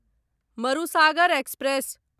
Marusagar express